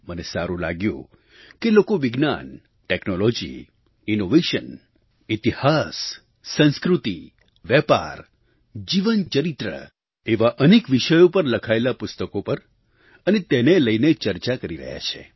મને સારું લાગ્યું કે લોકો વિજ્ઞાન ટૅક્નૉલૉજી ઇનોવેશન ઇતિહાસ સંસ્કૃતિ વેપાર જીવનચરિત્ર એવા અનેક વિષયો પર લખાયેલાં પુસ્તકો પર અને તેને લઈને ચર્ચા કરી રહ્યા છે